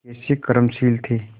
कैसे कर्मशील थे